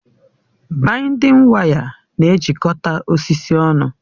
Baịndịn waya na-ejikọta osisi ọnụ